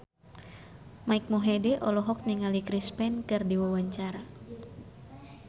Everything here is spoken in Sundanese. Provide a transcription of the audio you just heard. Mike Mohede olohok ningali Chris Pane keur diwawancara